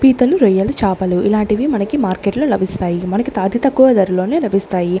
పీతలు రొయ్యలు చాపలు ఇలాంటివి మనకి మార్కెట్ లో లభిస్తాయి మనకి అతి తక్కువ ధరలోనే లభిస్తాయి.